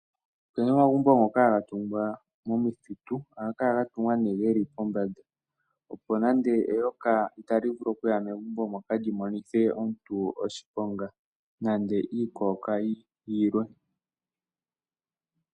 Opena omagumbo ngoka haga tungwa momithitu, ohaga kala ga tungwa nee geli pombanda, opo nande eyoka otali vulu okuya megumbo moka lyi monithe omuntu oshiponga, nenge iikokayi yilwe.